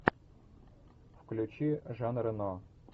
включи жан рено